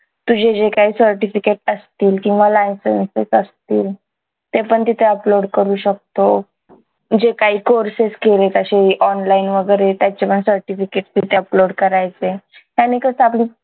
तुझे जे काही certificates असतील किंवा licenses असतील ते पण तिथे upload करू शकतो जे काही courses केलेत अशे online वगैरे त्याचे पण certificates तिथे upload करायचे त्यांनी कसं आपली